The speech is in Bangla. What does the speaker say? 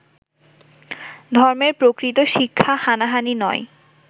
ধর্মের প্রকৃত শিক্ষা হানাহানি নয়